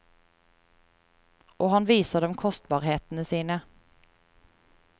Og han viser dem kostbarhetene sine.